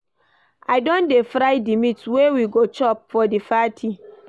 I don dey fry di meat wey we go chop for di party.